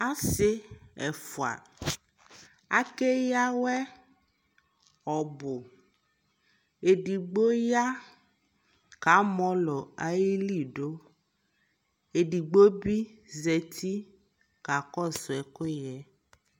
asii ɛƒʋa akɛya awɛ ɔbʋ, ɛdigbɔ ya ka mɔlɔ ali dʋ, ɛdigbɔ bi zati kakɔsʋ ɛkʋyɛ